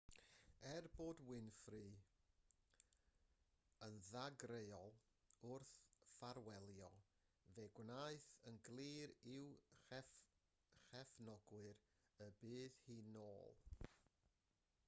er bod winfrey yn ddagreuol wrth ffarwelio fe'i gwnaeth yn glir i'w chefnogwyr y bydd hi'n ôl